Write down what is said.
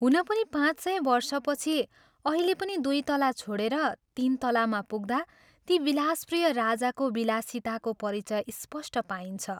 हुन पनि पाँच सय वर्षपछि अहिले पनि दुइ तला छोडेर तीन तलामा पुग्दा ती विलासप्रिय राजाको विलासिताको परिचय स्पष्ट पाइन्छ।